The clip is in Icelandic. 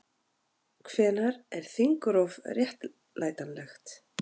Hvenær er þingrof réttlætanlegt?